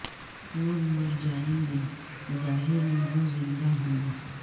لوگ مر جائیں گے ظاہر میں گو زندہ ہوں گے